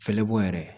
Fɛlɛbɔ yɛrɛ